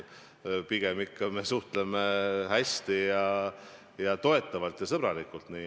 Pigem suhtleme me hästi, toetavalt ja sõbralikult.